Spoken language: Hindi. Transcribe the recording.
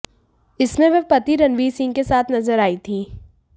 इसमें वह पति रणवीर सिंह के साथ नजर आईं थी